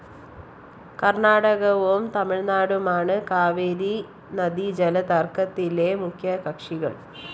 കര്‍ണാടകവും തമിഴ്‌നാടുമാണ്‌ കാവേരി നദീജലതര്‍ക്കത്തിലെ മുഖ്യകക്ഷികള്‍